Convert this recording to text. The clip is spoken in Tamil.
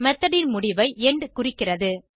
மெத்தோட் ன் முடிவை எண்ட் குறிக்கிறது